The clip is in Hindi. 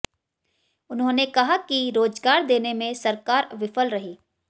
उन्होंने कहा कि रोजगार देने में सरकार विफल रही